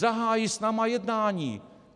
Zahájí s námi jednání!